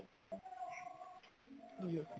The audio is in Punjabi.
ਜੀ